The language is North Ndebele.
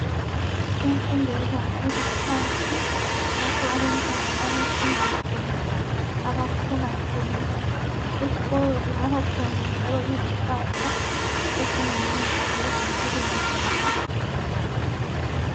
Imfundo yebanga eliphansi lapho abantwana abafunda khona, abakhula khona. Esikolo kungaba khona izihlahla ezingumuthi ezimpilweni zabo.